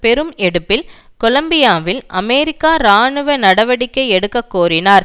பெரும் எடுப்பில் கொலம்பியாவில் அமெரிக்கா இராணுவ நடவடிக்கை எடுக்க கோரினார்